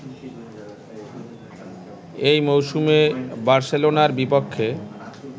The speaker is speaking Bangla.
এই মৌসুমে বার্সেলোনার বিপক্ষে